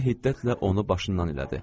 Nənə hiddətlə onu başından elədi.